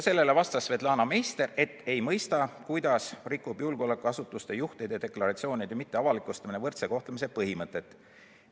Sellele vastas Svetlana Meister, et ta ei mõista, kuidas rikub julgeolekuasutuste juhtide deklaratsiooni mitteavalikustamine võrdse kohtlemise põhimõtet.